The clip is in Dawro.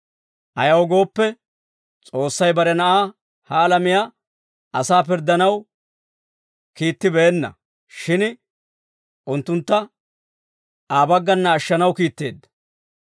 Ayaw gooppe, S'oossay bare Na'aa ha alamiyaa asaa pirddanaw kiittibeenna; shin unttuntta Aa baggana ashshanaw kiitteedda.